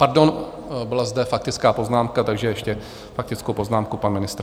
Pardon, byla zde faktická poznámka, takže ještě faktickou poznámku - pan ministr.